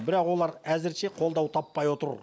бірақ олар әзірше қолдау таппай отыр